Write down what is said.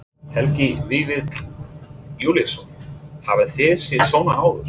Helgi Vífill Júlíusson: Hafið þið séð svona áður?